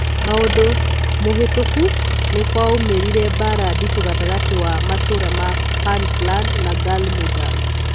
Mwaka mũhĩtũku, nikwaumerire mbara nditũ gatagati wa matũra ma Puntland na Galmudug.